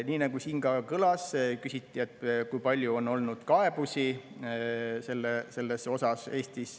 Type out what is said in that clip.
Nii nagu siin ka kõlas, küsiti, kui palju on Eestis olnud kaebusi selles osas.